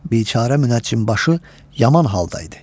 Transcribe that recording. Biçarə münəccimbaşı yaman halda idi.